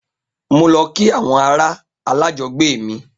Mo lọ kí àwọn ará alájọgbe mi